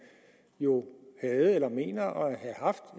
jo havde eller mener at have haft